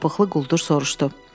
Üzü çapıqlı quldur soruşdu.